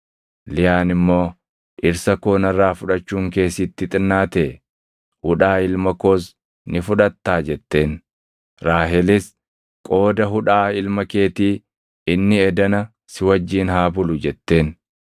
Liyaan immoo, “Dhirsa koo narraa fudhachuun kee sitti xinnaatee? Hudhaa ilma koos ni fudhattaa?” jetteen. Raahelis, “Qooda hudhaa ilma keetii inni edana si wajjin haa bulu” jetteen.